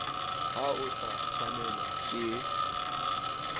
ha o sa tshwanelwa ke